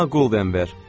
Ona golden ver.